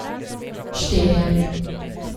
Štirje.